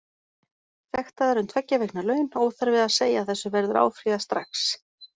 Sektaður um tveggja vikna laun, óþarfi að segja að þessu verður áfrýjað strax.